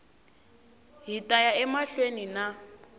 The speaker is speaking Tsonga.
hi ta ya emahlweni na